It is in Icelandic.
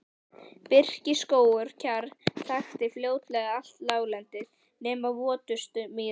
Birkiskógur og kjarr þakti fljótlega allt láglendi nema votustu mýrar.